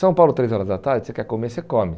São Paulo, três horas da tarde, você quer comer, você come.